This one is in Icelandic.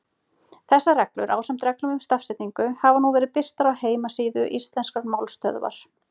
Þessar reglur, ásamt reglum um stafsetningu, hafa nú verið birtar á heimasíðu Íslenskrar málstöðvar.